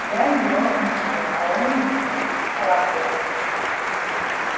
я его окликнул а он цапает